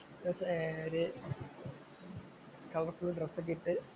എന്നിട്ട് ഒരു colourful‍ dress ഒക്കെ ഇട്ടു